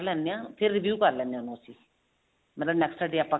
ਲੈਂਦੇ ਹਾਂ ਫ਼ੇਰ review ਕਰ ਲੈਂਦੇ ਹਾਂ ਉਹਨੂੰ ਅਸੀਂ ਮਤਲਬ next day ਆਪਾਂ